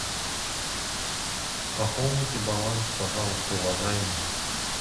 пополните баланс пожалуйста уважаемый